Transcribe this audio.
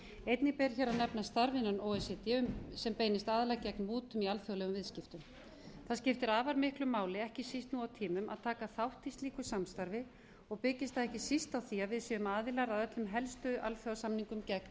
einnig ber hér að nefna starf innan o e c d sem beinist aðallega gegn mútum ó alþjóðlegum viðskiptum það skiptir afar miklu máli ekki síst nú á tímum að taka þátt í slíku samstarfi og byggist það ekki síst á því að við séum aðilar að öllum helstu alþjóðasamningum